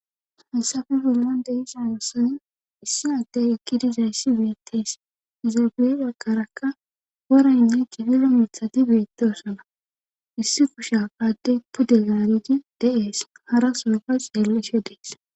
haysafe gollan de isa nosan issi addey ekki dizayssi beettees izaabeea karakka woranne jigiro miithati beettesana issi kusha padde puddelarii de7ees hara soofay xeelleshe dees